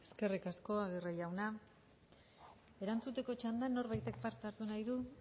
eskerrik asko aguirre jauna erantzuteko txandan norbaitek parte hartu nahi du